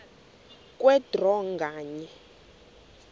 kwe draw nganye